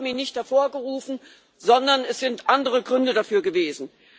Sie haben ihn nicht hervorgerufen, sondern es hat andere Gründe dafür gegeben.